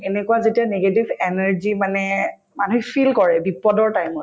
এনেকুৱা যেতিয়া negative energy মানে মানুহে feel কৰে বিপদৰ time ত